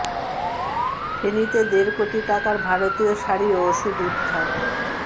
ফেনীতে দেড় কোটি টাকার ভারতীয় শাড়ি ও ওষুধ উদ্ধার